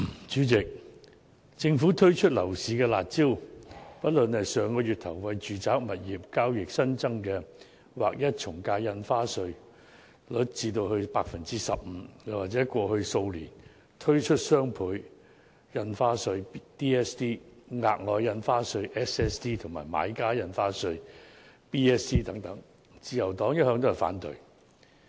主席，政府推出樓市"辣招"，不論是上月初調高住宅物業交易的從價印花稅稅率至劃一的 15%， 或是在過去數年推出的雙倍從價印花稅、額外印花稅和買家印花稅等，自由黨一向都是反對的。